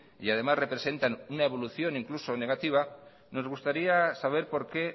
y además representan una evolución incluso negativa nos gustaría saber por qué